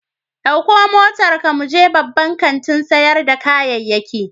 Ɗauko motarka mu je babban kantin sayar da kayayyaki.